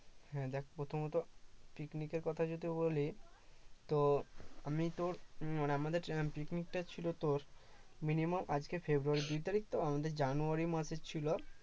হ্যাঁ দেখ প্রথমত picnic এর কথা যদি বলি তো আমি তো মানে আমাদের picnic টা ছিল তোর minimum আজকে ফেব্রুয়ারির দুই তারিখ তো আমাদের জানুয়ারি মাসে ছিল